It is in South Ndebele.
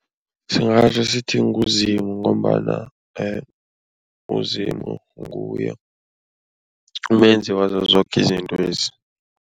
Singatjho sithi nguZimu ngombana uZimu nguye umenzi wazo zoke izintwezi.